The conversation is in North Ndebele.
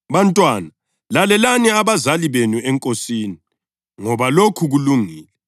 Bantwana lalelani abazali benu eNkosini ngoba lokhu kulungile.